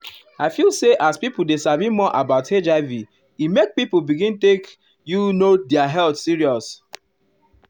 i feel say as people dey sabi more about hiv e make people begin take you know their health serious.